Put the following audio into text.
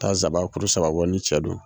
Taa zaba kuru saba bɔ ni cɛ don.